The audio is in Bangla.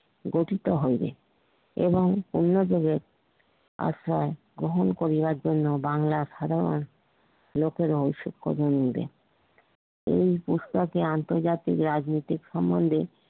গঠিত হইবে এবং অন্য যুগের আশা গ্রহণ করিবার জন্য বাঙ্গলার সাধারন লোকেরাও এই প্রস্তাবে আন্তর্জাতিক রাজনীতিক সম্বন্ধে